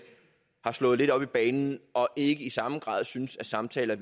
har slået lidt op i banen og ikke i samme grad synes samtaler